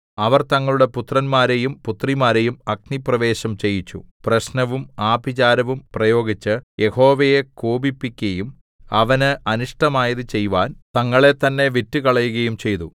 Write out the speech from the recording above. അവർ തങ്ങളുടെ പുത്രന്മാരെയും പുത്രിമാരെയും അഗ്നിപ്രവേശം ചെയ്യിച്ചു പ്രശ്നവും ആഭിചാരവും പ്രയോഗിച്ച് യഹോവയെ കോപിപ്പിക്കയും അവന് അനിഷ്ടമായത് ചെയ്‌വാൻ തങ്ങളെത്തന്നെ വിറ്റുകളയുകയും ചെയ്തു